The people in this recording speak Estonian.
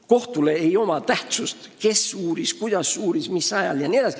Kohtu jaoks ei oma tähtsust, kes uuris, kuidas ja mis ajal uuris jne.